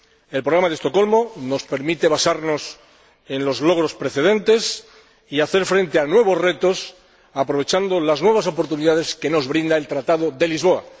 El Programa de Estocolmo nos permite basarnos en los logros precedentes y hacer frente a nuevos retos, aprovechando las nuevas oportunidades que nos brinda el Tratado de Lisboa.